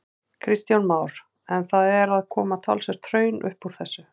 Kristján Már: En það er að koma talsvert hraun upp úr þessu?